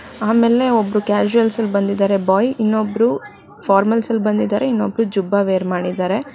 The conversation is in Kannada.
ಆಮೇಲೆ ಒಬ್ಬ ಕ್ಯಾಶುಯಲ್ಸ್ ಅಲ್ಲಿ ಬಂದಿದ್ದಾರೆ ಬಾಯ್ ಇನ್ನೊಬ್ರು ಇನ್ನೊಬ್ರು ಫಾರ್ಮಲ್ಸ್ ಅಲ್ಲಿ ಬಂದಿದ್ದಾರೆ ಇನ್ನೊಬ್ರು ಜುಬ್ಬಾ ವೇರ್ ಮಾಡಿದ್ದಾರೆ.